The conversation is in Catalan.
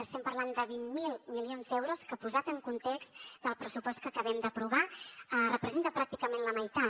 estem parlant de vint miler milions d’euros que posat en context del pressupost que acabem d’aprovar representa pràcticament la meitat